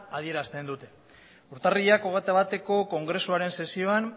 adierazten dute urtarrilak hogeita bateko kongresuaren sesioan